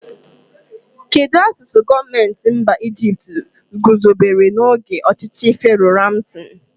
Kedụ asụsụ gọọmenti mba Ijipt guzobere n'oge ọchịchị Fero Ramsi?